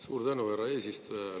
Suur tänu, härra eesistuja!